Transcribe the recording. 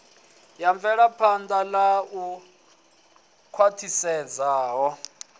wa mvelaphan ḓa u khwaṱhisedzaho